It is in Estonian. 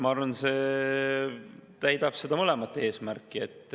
Ma arvan, et see täidab mõlemat eesmärki.